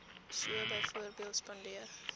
so byvoorbeeld spandeer